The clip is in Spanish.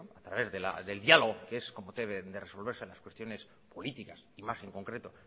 a través del diálogo que es como debe de resolverse las cuestiones políticas y más en concreto